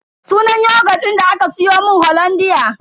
Sunan yogut din da aka siyomun hollandia.